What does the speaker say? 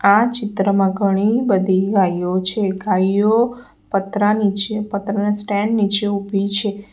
આ ચિત્રમાં ઘણી બધી ગાઇઓ છે ગાઈઓ પત્રા નીચે પત્રાના સ્ટેન્ડ નીચે ઊભી છે.